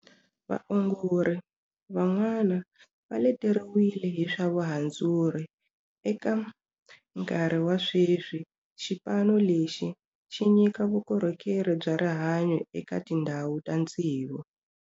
Vaongori van'wana va leteriwile hi swa vuhandzuri. Eka nkarhi wa sweswi xipano lexi xi nyika vukorhokeri bya rihanyu eka tindhawo ta tsevu.